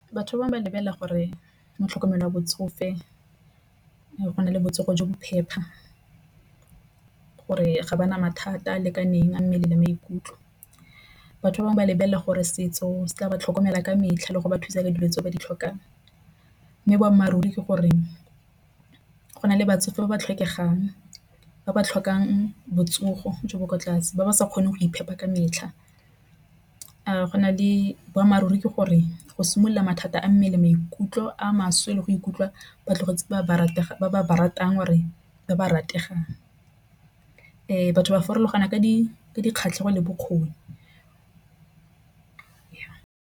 Batho ba bangwe ba lebelela gore mo tlhokomelo ya botsofe go na le botsogo jo bo phepa. Gore ga ba na mathata a lekaneng mmele le maikutlo batho ba bangwe ba lebelela gore setso se tla ba tlhokomela ka metlha le go ba thusa ka dilo tse ba di tlhokang, mme boammaaruri ke gore go na le batsofe ba ba tlhokegang ba ba tlhokang botsogo jo bo kwa tlase ba ba sa kgone go iphepa ka metlha. A go na le boammaaruri ke gore go simolola mathata a mmele maikutlo a maswe le go ikutlwa ba tlogetse batho ba ba ratang re ba ba rategang fa batho ba farologana ka dikgatlhegelo bokgoni.